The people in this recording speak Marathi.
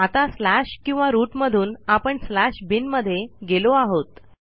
आता स्लॅश किंवा रूट मधून आपण स्लॅश बिन मध्ये गेलो आहोत